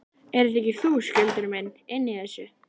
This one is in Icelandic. Ert þetta ekki þú, Skjöldur minn, inni í þessu?